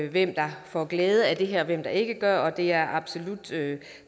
hvem der får glæde af det her og hvem der ikke gør og det er absolut